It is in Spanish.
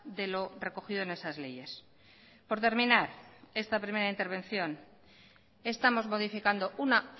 de lo recogido en esas leyes por terminar esta primera intervención estamos modificando una